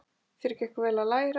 Þér gekk vel að læra.